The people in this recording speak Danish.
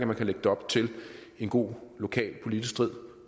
man kan lægge det op til en god lokal politisk strid